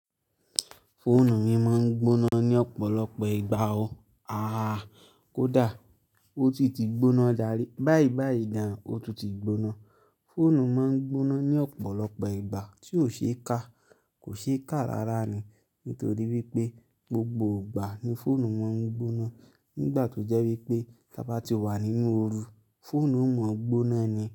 Fóònù mi máa ń gbóná ní ọ̀pọ̀lọpọ̀ ìgbà o. Ah! Kódà ó ti ti gbóná dàrí, báìbàìdá, ó tún ti gbóná. Fóònù máa ń gbóná ní ọ̀pọ̀lọpọ̀ ìgbà tí ó ṣe é kà, kò ṣe é kà rára ni. Nítorí wípé gbogbo ìgbà ni fónù máa ń gbóná. Nígbà tó jẹ́ wípé bá tí wà nínú ooru, fóònù o máa gbóná ni.